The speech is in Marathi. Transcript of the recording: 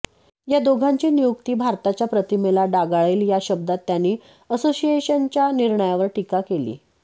या दोघांची नियुक्ती भारताच्या प्रतिमेला डागाळेल या शब्दांत त्यांनी असोसिएशनच्या निर्णयावर टीका केली